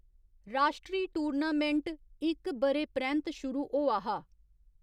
राश्ट्री टूर्नामेंट इक ब'रे परैंत्त शुरू होआ हा।